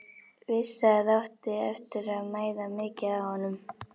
Vissi að það átti eftir að mæða mikið á honum.